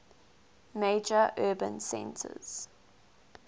major urban centers